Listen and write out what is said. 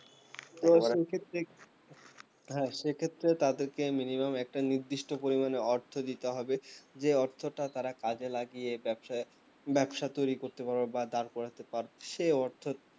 তো সেক্ষেত্রে হ্যাঁ সেক্ষেত্রে তাদেরকে minimum একটা নির্দিষ্ট পরিমানে অর্থ দিতে হইবে যে অর্থ টা তারা কাজে লাগিয়ে ব্যবসা ব্যবসা তৈরী করতে পারবে বা দাঁড় করতে পারবে সে অর্থ